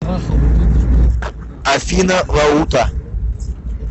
афина лаута